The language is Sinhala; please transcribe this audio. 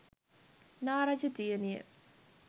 නා රජ දියණිය